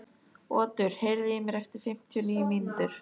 Otur, heyrðu í mér eftir fimmtíu og níu mínútur.